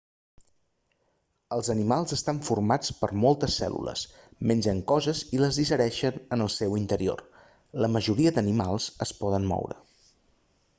els animals estan formats per moltes cèl·lules mengen coses i les digereixen en el seu interior la majoria d'animals es poden moure